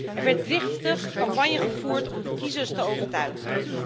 Er werd driftig campagne gevoerd om de kiezers te overtuigen.